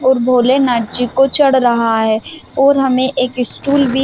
और भोले नाथ जी को चढ़ रहा है और हमे एक स्टूल भी--